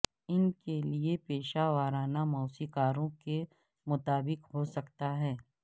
ان کے لئے پیشہ ورانہ موسیقاروں کے مطابق ہو سکتا